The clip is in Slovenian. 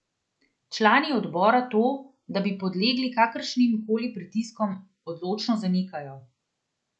Člani odbora to, da bi podlegli kakršnim koli pritiskom, odločno zanikajo.